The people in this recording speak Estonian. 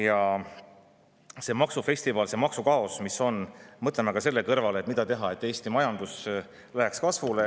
Ka see maksufestival, see maksukaos, mis on – mõtleme selle kõrval, mida teha, et Eesti majandus läheks kasvule.